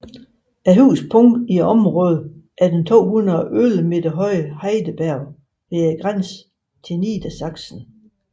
Højeste punkt i området er den 211 meter høje Heideberg ved grænsen til Niedersachsen